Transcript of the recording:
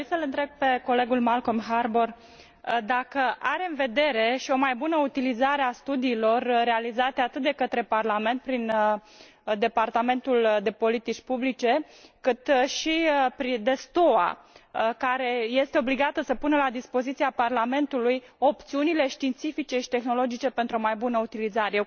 Aș dori să l întreb pe colegul Malcolm Harbour dacă are în vedere și o mai bună utilizare a studiilor realizate atât de către Parlament, prin Departamentul de politici publice, cât și de STOA, care este obligată să pună la dispoziția Parlamentului opțiunile științifice și tehnologice pentru o mai bună utilizare.